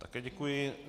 Také děkuji.